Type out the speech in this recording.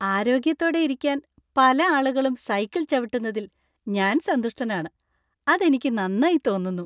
ആരോഗ്യത്തോടെ ഇരിക്കാൻ പല ആളുകളും സൈക്കിൾ ചവിട്ടുന്നതിൽ ഞാൻ സന്തുഷ്ടനാണ്. അത് എനിക്ക് നന്നായി തോന്നുന്നു .